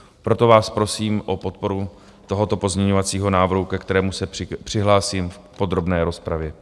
Proto vás prosím o podporu tohoto pozměňovacího návrhu, ke kterému se přihlásím v podrobné rozpravě.